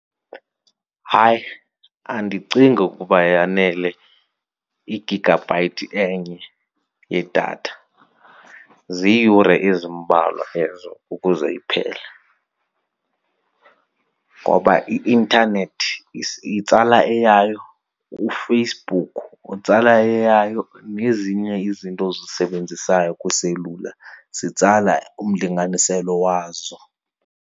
Hayi, andicingi ukuba yanele igigabhayithi enye yedatha. Ziiyure ezimbalwa ezo ukuze iphele ngoba i-intanethi itsala eyayo, uFacebook utsala eyayo nezinye izinto ozisebenzisayo kwiselula zitsala umlinganiselo wazo.